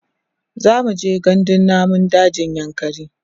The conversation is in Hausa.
zamuje gandun namun dajin yankari